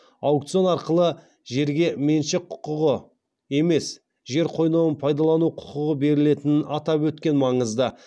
аукцион арқылы жерге меншік құқығы емес жер қойнауын пайдалану құқығы берілетінін атап өткен маңызды